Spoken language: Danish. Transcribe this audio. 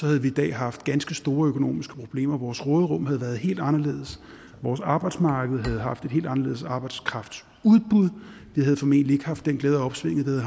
havde vi i dag haft ganske store økonomiske problemer vores råderum havde været helt anderledes vores arbejdsmarked havde haft et helt anderledes arbejdskraftudbud vi havde formentlig ikke haft den glæde af opsvinget